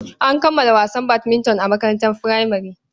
An kammala wasan badminton a makarantar furamare.